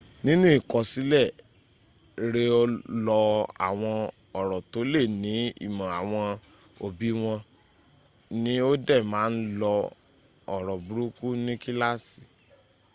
ninu ikosile re o lo awon oro to le ni imo awon obi won ni o de ma n lo oro buruku ni kilaasi